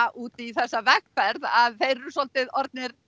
út í þessa vegferð að þeir eru svolítið orðnir